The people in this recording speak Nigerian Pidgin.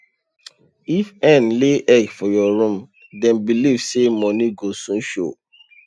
if hen lay egg for your room dem believe say money go soon show